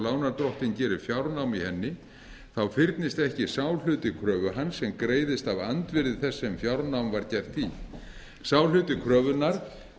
lánardrottinn gerir fjárnám í henni þá fyrnist ekki sá hluti kröfu hans sem greiðist af andvirði þess sem fjárnám var gert í sá hluti kröfunnar